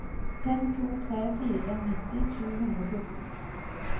fem to tre fire nitti sju hundre og fjorten